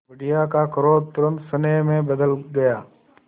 बुढ़िया का क्रोध तुरंत स्नेह में बदल गया